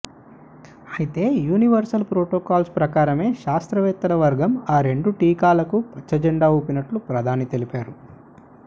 అయితే universal protocols ప్రకారమే శాస్త్రవేత్తల వర్గం ఆ రెండు టీకాలకు పచ్చజెండా ఊపినట్లు ప్రధాని తెలిపారు